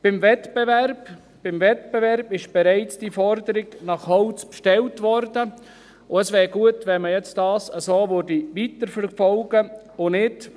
Beim Wettbewerb wurde bereits die Forderung nach Holz gestellt, und es wäre gut, wenn man das jetzt so weiterverfolgen würde und nicht …